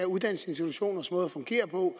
uddannelsesinstitutioners måde at fungere på